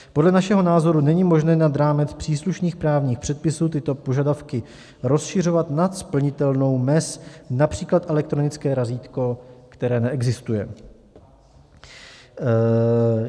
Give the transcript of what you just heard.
Podle našeho názoru není možné nad rámec příslušných právních předpisů tyto požadavky rozšiřovat nad splnitelnou mez, například elektronické razítko, které neexistuje.